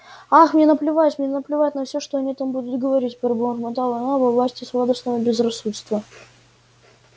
ах мне наплевать мне наплевать на всё что они там будут говорить пробормотала она во власти сладостного безрассудства